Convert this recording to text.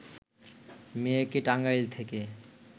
মেয়েকে টাঙ্গাইল থেকে